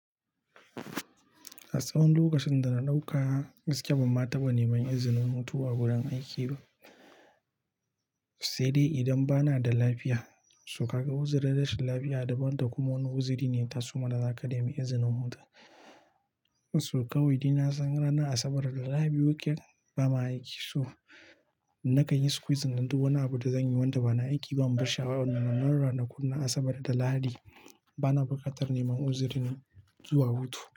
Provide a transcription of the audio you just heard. A tsawon lokacin da na ɗauka, gaskiya, ban ma taɓa neman izinin hutu a wurin aiki ba, sai dai idan ba na da lafiya. So ka ga uzirin rashin lafiya daban da kuma wani uziri ne yataso ma, da za ka nemi izinin huta To kawai dai nasan ranar Asabar da Lahadi weekend ba ma aiki To, na kanyi squeezing din duk wani abu da zan yi wanda ba na aiki ba Mu bashi a wa, na mana ranakun Asabar da Lahadi ba na bukatar neman uzuri ne zuwa hutu.